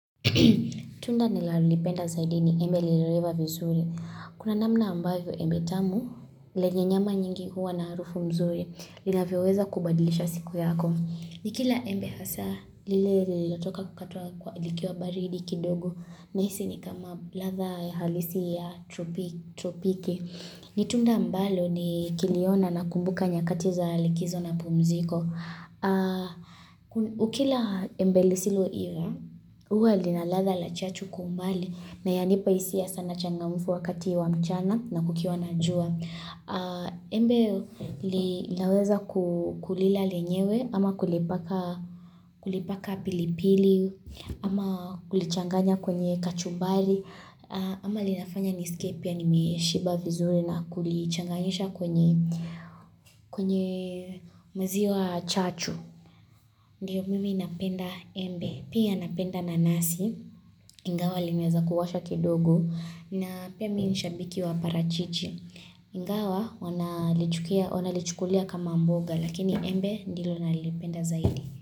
Tunda nilalipenda zaidi ni embe lililoiva vizuri Kuna namna ambayo embe tamu lenyr nyama nyingi huwa na harufu mzuri Linavyoweza kubadilisha siku yako Nikila embe hasa lile lililotoka kukatwa kwa likiwa baridi kidogo nahisi ni kama latha halisi ya tropiki Nitunda mbalo nikiliona nakumbuka nyakati za likizo na pumziko ukila embe lisiloiva huwa linaladha la chachu kwa umbali na yanipa hisia sana changamufu wakati wa mchana na kukiwa na jua. Embe li naweza kulila lenyewe ama kulipaka kulipaka pilipili ama kulichanganya kwenye kachumbari ama linafanya niskie pia nimeshiba vizuri na kulichanganyisha kwenye maziwa chachu. Ndiyo mimi napenda embe, pia napenda nanasi, ingawa linaeza kuwasha kidogo na pia mimi nshabiki wa parachichi. Ingawa wanalichukulia kama mboga lakini embe ndilo nalipenda zaidi.